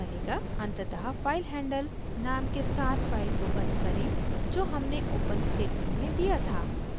अंततः filehandle नाम के साथ फाइल को बंद करें जो हमने ओपन स्टेटमेंट में दिया था